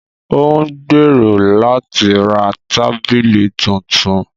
Ó ń gbèrò láti ra tábìlì tuntun